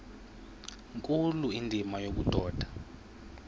nkulu indima yobudoda